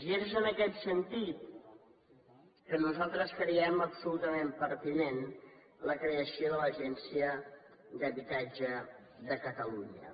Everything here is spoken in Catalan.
i és en aquest sentit que nosaltres creiem absolutament pertinent la creació de l’agència de l’habitatge de catalunya